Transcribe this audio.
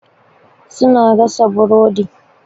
Su na gasa burodi.